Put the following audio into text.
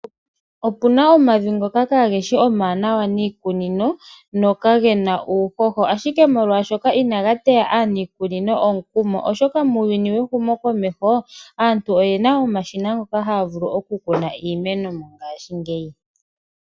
Opu na omavi ngoka kaa geshi omawaanawa niikunino nokage na uuhoho ashike molwaashoka inaga teya aaniikunino omukumo, oshoka muuyuni wehumokomeho aantu oye na omashina ngoka haya vulu okukuna iimeno monangaashingeyi.